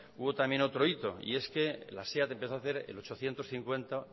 hubo también otro hito y es que la seat empezó a hacer el ochocientos cincuenta